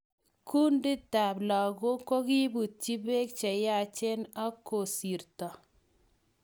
Kunditab lagok kokiibutyi beek cheyachen ak kosirto